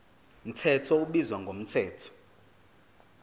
mthetho ubizwa ngomthetho